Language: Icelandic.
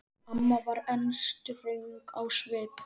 Amma var enn ströng á svip.